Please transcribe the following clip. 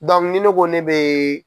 ni ne ko ne bɛ